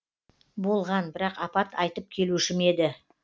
болған бірақ апат айтып келуші ме еді